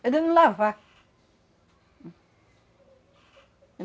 É de não lavar. Hum.